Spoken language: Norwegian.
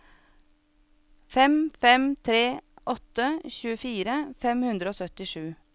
fem fem tre åtte tjuefire fem hundre og syttisju